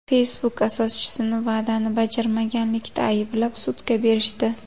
Facebook asoschisini va’dani bajarmaganlikda ayblab, sudga berishdi.